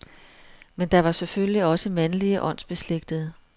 Men der var selvfølgelig også mandlige åndsbeslægtede.